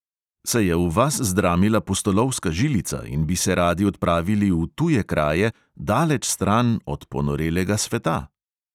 Se je v vas zdramila pustolovska žilica in bi se radi odpravili v tuje kraje, daleč stran od ponorelega sveta?